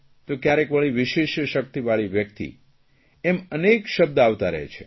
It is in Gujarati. તો ક્યારેક વળી વિશિષ્ટ શકિતવાળી વ્યકિત એમ અનેક શબ્દ આવતા રહે છે